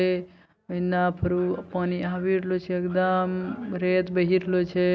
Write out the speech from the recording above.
ए इन्ना फिरू पानी आवी रहलो छै एकदम रेत बहिरलो छे।